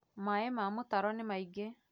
Maĩ ma mũtaro nĩ maingĩ